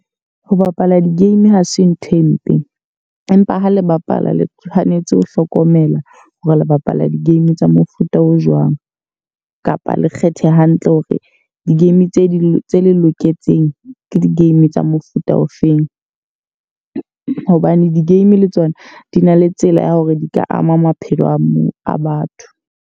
Ho bapala di-game ha se nthwe mpe. Empa ha le bapala le tshwanetse ho hlokomela hore le bapala di-game tsa mofuta o jwang. Kapa le kgethe hantle hore di-game tse di le tse loketseng ke di-game tsa mofuta ofeng. Hobane di-game le tsona di na le tsela ya hore di ka ama maphelo a batho.